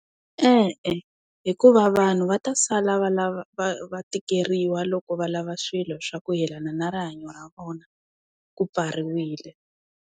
E-e, hikuva vanhu va ta sala va lava va va tikeriwa loko va lava swilo swa ku yelana na rihanyo ra vona. Ku pfariwile.